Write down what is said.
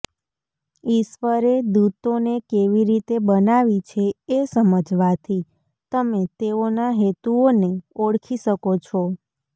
ઈશ્વરે દૂતોને કેવી રીતે બનાવી છે એ સમજવાથી તમે તેઓના હેતુઓને ઓળખી શકો છો